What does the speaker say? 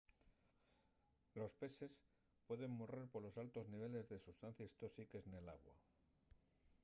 los pexes pueden morrer polos altos niveles de sustancies tóxiques nel agua